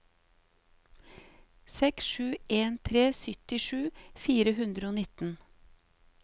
seks sju en tre syttisju fire hundre og nitten